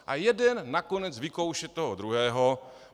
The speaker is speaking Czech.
A jeden nakonec vykouše toho druhého.